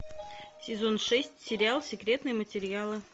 сезон шесть сериал секретные материалы